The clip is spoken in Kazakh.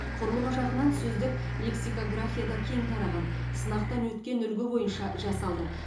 құрылымы жағынан сөздік лексикографияда кең тараған сынақтан өткен үлгі бойынша жасалды